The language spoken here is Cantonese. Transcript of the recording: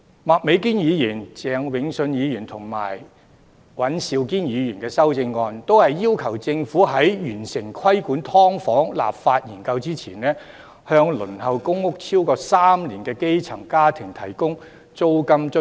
麥美娟議員、鄭泳舜議員和尹兆堅議員的修正案均要求政府在完成規管"劏房"立法研究之前，向輪候公屋超過3年的基層家庭提供租金津貼。